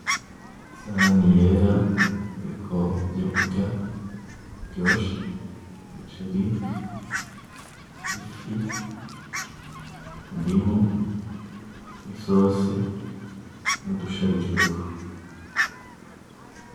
Isahani yera iriko ivyo kurya biryoshe umuceri , ifi , indimu n'isose n'udusharijweko .